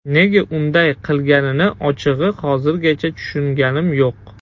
Nega unday qilganini ochig‘i hozirgacha tushunganim yo‘q.